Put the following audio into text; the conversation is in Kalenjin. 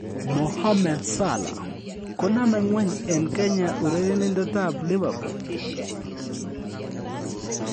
Mohammed Salah: Konome ng'weny en Kenya urerenindetab Liverpool